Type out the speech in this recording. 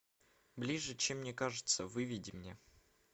ближе чем мне кажется выведи мне